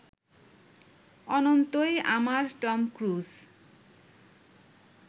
অনন্তই আমার Tom cruise